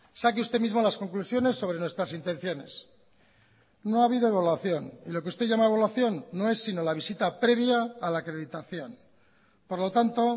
saque usted mismo las conclusiones sobre nuestras intenciones no ha habido evaluación y lo que usted llama evaluación no es sino la visita previa a la acreditación por lo tanto